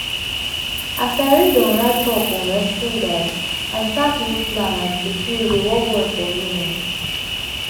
as i read on write up on resting guide i start new plan and true true e dey work well for me.